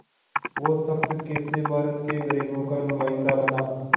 वो शख़्स कैसे भारत के ग़रीबों का नुमाइंदा बना